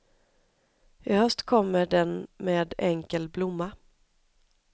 I höst kommer den med enkel blomma.